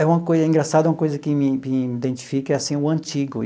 É uma coisa é engraçado, uma coisa que me que identifica é assim o antigo.